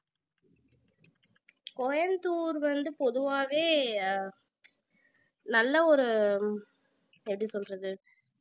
கோயம்புத்தூர் வந்து பொதுவாவே நல்ல ஒரு எப்படி சொல்றது